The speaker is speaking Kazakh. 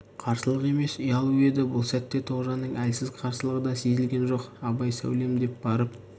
қарсылық емес ұялу еді бұл сәтте тоғжанның әлсіз қарсылығы да сезілген жоқ абай сәулем деп барып